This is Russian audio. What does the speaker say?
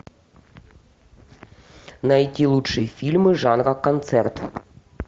найти лучшие фильмы жанра концерт